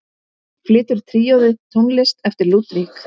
Flytur tríóið tónlist eftir Ludvig.